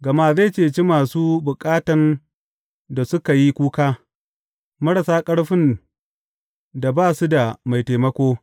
Gama zai ceci masu bukatan da suka yi kuka, marasa ƙarfin da ba su da mai taimako.